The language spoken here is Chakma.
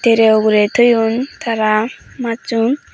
tray ugurey toyon tara majsun.